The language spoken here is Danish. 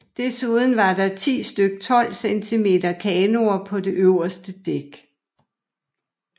Desuden var der 10 styk 12 cm kanoner på det øverste dæk